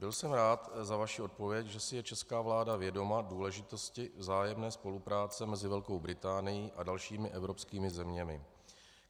Byl jsem rád za vaši odpověď, že si je česká vláda vědoma důležitosti vzájemné spolupráce mezi Velkou Británií a dalšími evropskými zeměmi.